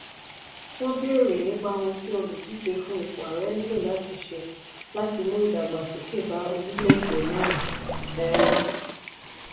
wọ́n béèrè nípa ohun tí olùdíje fún ipò ààrẹ nílò láti ṣe láti mú ìdàgbàsókè bá orílẹ̀-èdè náà. um